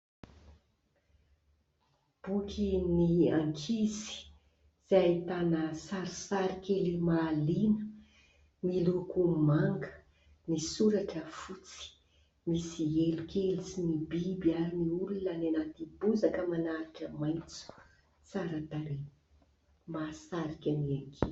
Bokin'ny ankizy, izay ahitana sarisary kely mahaliana : miloko manga, ny soratra fotsy, misy elo kely sy ny biby ary ny olona any anaty bozaka aman'ahitra maitso tsara tarehy mahasarika ny ankizy.